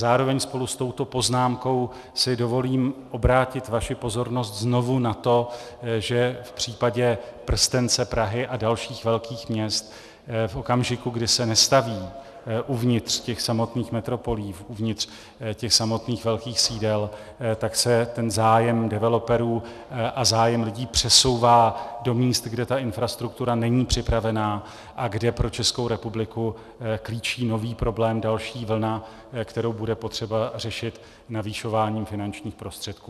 Zároveň spolu s touto poznámkou si dovolím obrátit vaši pozornost znovu na to, že v případě prstence Prahy a dalších velkých měst v okamžiku, kdy se nestaví uvnitř těch samotných metropolí, uvnitř těch samotných velkých sídel, tak se ten zájem developerů a zájem lidí přesouvá do míst, kde ta infrastruktura není připravená a kde pro Českou republiku klíčí nový problém, další vlna, kterou bude potřeba řešit navyšováním finančních prostředků.